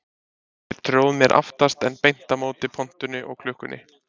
Ég tróð mér aftast en beint á móti pontunni og klukkunni.